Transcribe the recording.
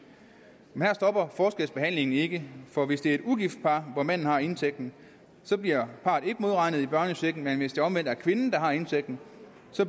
men her stopper forskelsbehandlingen ikke for hvis det er et ugift par hvor manden har indtægten bliver parret ikke modregnet i børnechecken men hvis det omvendt er kvinden der har indtægten